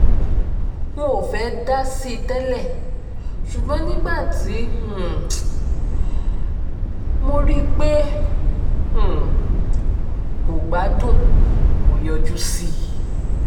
n ò fẹ́ẹ́ dá sí i tẹ́lẹ̀ ṣùgbọ́n nígbà tí um mo rí i pé um kò gbádùn mo yọjú sí i